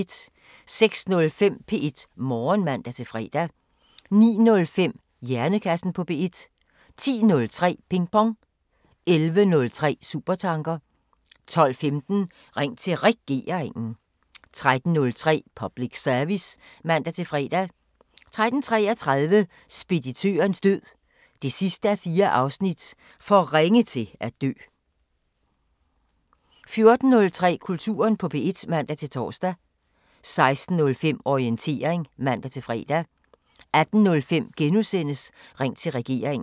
06:05: P1 Morgen (man-fre) 09:05: Hjernekassen på P1 10:03: Pingpong 11:03: Supertanker 12:15: Ring til Regeringen 13:03: Public Service (man-fre) 13:33: Speditørens død 4:4 – For ringe til at dø 14:03: Kulturen på P1 (man-tor) 16:05: Orientering (man-fre) 18:05: Ring til Regeringen *